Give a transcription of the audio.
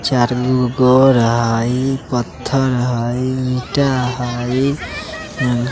चारगो गोर हई पत्थर हई ईंटा हई अ --